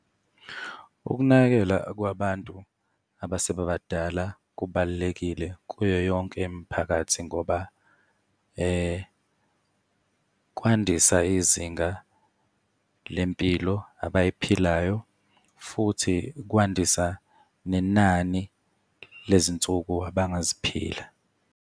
Ukunakekela kwabantu abasebebadala kubalulekile kuyo yonke imiphakathi ngoba kwandisa izinga lempilo abayiphilayo, futhi kwandisa nenani lezinsuku abangaziphila.